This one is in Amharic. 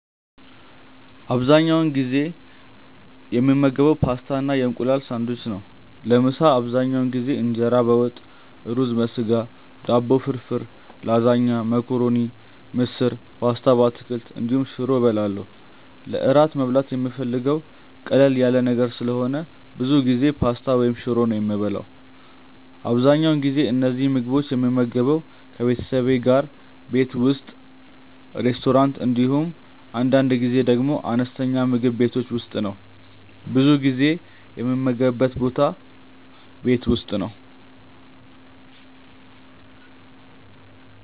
አብዛኛውን ጊዜ የምመገበው ፓስታ እና የእንቁላል ሳንድዊች ነው። ለምሳ አብዛኛውን ጊዜ እንጀራ በወጥ፣ ሩዝ በስጋ፣ ዳቦ ፍርፍር፣ ላዛኛ፣ መኮረኒ፣ ምስር፣ ፓስታ በአትክልት እንዲሁም ሽሮ እበላለሁ። ለእራት መብላት የምፈልገው ቀለል ያለ ነገር ስለሆነ ብዙ ጊዜ ፓስታ ወይም ሽሮ ነው የምበላው። አብዛኛውን ጊዜ እነዚህን ምግቦች የምመገበው ከቤተሰቤ ጋር ቤት ውስጥ፣ ሬስቶራንት እንዲሁም አንዳንድ ጊዜ ደግሞ አነስተኛ ምግብ ቤቶች ውስጥ ነው። ብዙ ጊዜ የምመገብበት ቦታ ቤት ውስጥ ነው።